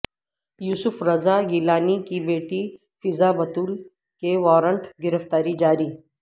یوسف رضا گیلانی کی بیٹی فضہ بتول کے ورانٹ گرفتاری جاری